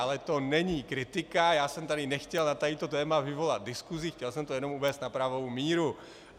Ale to není kritika, já jsem tady nechtěl na toto téma vyvolat diskusi, chtěl jsem to jenom uvést na pravou míru.